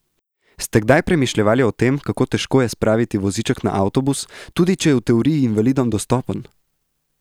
Ste kdaj premišljevali o tem, kako težko je spraviti voziček na avtobus, tudi, če je ta v teoriji invalidom dostopen?